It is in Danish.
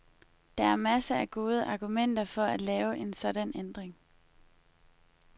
Der er masser af gode argumenter for at lave en sådan ændring.